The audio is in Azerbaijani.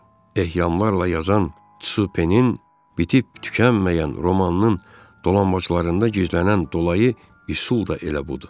Əhyamlarla yazan Supe-nin bitib tükənməyən romanının dolanbaclarında gizlənən dolayı üsul da elə budur.